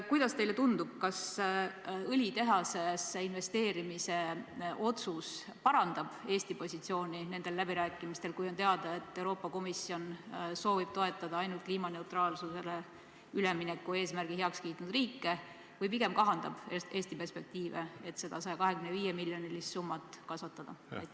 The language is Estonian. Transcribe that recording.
Kuidas teile tundub, kas õlitehasesse investeerimise otsus parandab nendel läbirääkimistel Eesti positsiooni, kui on teada, et Euroopa Komisjon soovib toetada ainult kliimaneutraalsusele ülemineku eesmärgi heaks kiitnud riike, või pigem kahandab Eesti perspektiivi seda 125-miljonilist summat kasvatada?